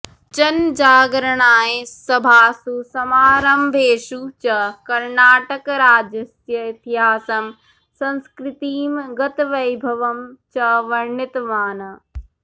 जनजागरणाय सभासु समारम्भेषु च कर्णाटकराज्यस्य इतिहासं संस्कृतिं गतवैभवं च वर्णितवान्